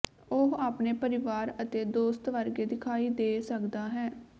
ਉਹ ਆਪਣੇ ਪਰਿਵਾਰ ਅਤੇ ਦੋਸਤ ਵਰਗੇ ਦਿਖਾਈ ਦੇ ਸਕਦਾ ਹੈ